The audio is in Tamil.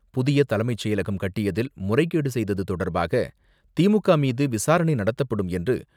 புதிய தலைமைச் செயலகம் கட்டியதில் முறைகேடு செய்தது தொடர்பாக திமுக மீது விசாரணை நடத்தப்படும் என்று